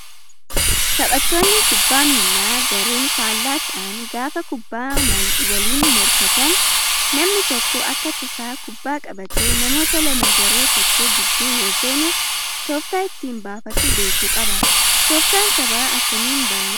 Taphattoonni kubbaa miilaa gareen faallaa ta'an gaafa kubbaa maliin mokan namni tokko akka tasaa kubbaa qabatee namoota lama garee tokkoo gidduu yoo seene tooftaa ittiin baafatu beekuu qaba. Tooftaan taphaa akkamiin baramaa?